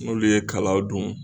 N'olu ye kalaw dun